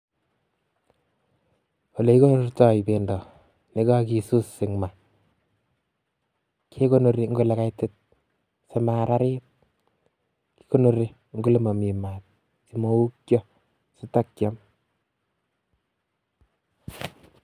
Olekikonortoi bendo yekakisus en maa, kekonori eng' olekaitit sima ararit, kikonori eng' olee momii maat simoukyo sitokiome.